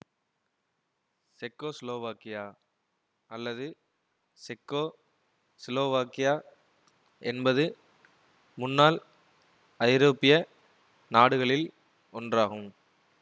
செக்கோசிலோவாக்கியா அல்லது செக்கோசிலோவாக்கியா என்பது முன்னாள் ஐரோப்பிய நாடுகளில் ஒன்றாகும்